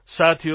સાથીઓ